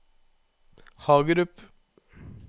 Hagerup